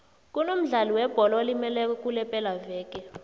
kunomdlali webholo olimeleko kulepelaveke